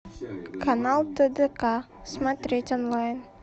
канал тдк смотреть онлайн